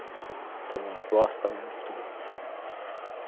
A turma gosta mesmo de futebol.